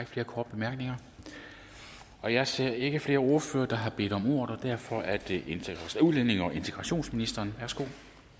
flere korte bemærkninger og jeg ser ikke flere ordførere der har bedt om ordet så derfor er det nu udlændinge og integrationsministeren værsgo